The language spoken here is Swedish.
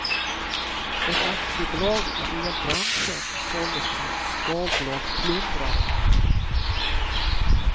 Ett aktiebolag i elbranschen såldes till en skalbolagsplundrare.